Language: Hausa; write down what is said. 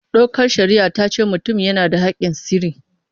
Dokar shari'a ta ce mutum yana da haƙƙin sirri.